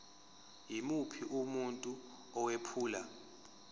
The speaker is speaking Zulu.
yimuphi umuntu owephula